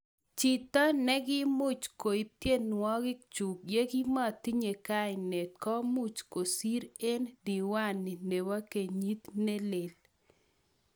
chito negiimuch koip tienwogik chuk yagimatinye kainet komuch kosir eng diwani nepo kenyit nelel